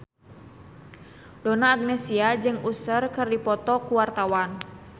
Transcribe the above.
Donna Agnesia jeung Usher keur dipoto ku wartawan